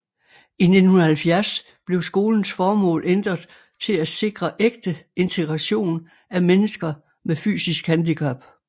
I 1970 blev skolens formål ændret til at sikre ægte integration af mennesker med fysisk handicap